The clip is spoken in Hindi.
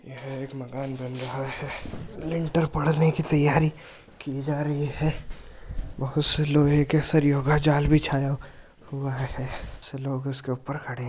यह एक मकान बन रहा हैलिंटर परने की तैयारी की जा रही है बहुत से लोहै के सरियो का जाल बिछाया हुआ है कुछ लोग उसके ऊपर खड़े है।